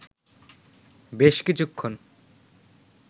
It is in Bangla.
বেশ কিছুক্ষণ